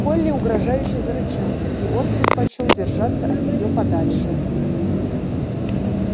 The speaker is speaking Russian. колли угрожающе зарычала и он предпочёл держаться от нее подальше